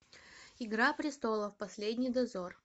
игра престолов последний дозор